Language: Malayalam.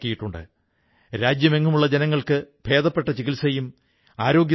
എന്റെ പ്രിയപ്പെട്ട ദേശവാസികളേ 31 ഒക്ടോബറിന് നാം വാല്മീകി ജയന്തിയും ആഘോഷിക്കും